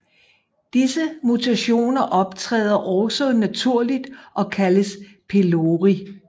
Disse mutationer optræder også naturligt og kaldes pelori